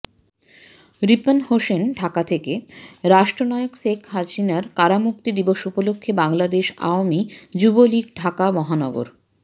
রিপন হোসেন ঢাকা থেকেঃ রাষ্ট্রনায়ক শেখ হাসিনার কারামুক্তি দিবস উপলক্ষে বাংলাদেশ আওয়ামী যুবলীগ ঢাকা মহানগর